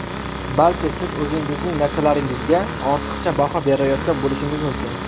Balki siz o‘zingizning narsalaringizga ortiqcha baho berayotgan bo‘lishingiz mumkin.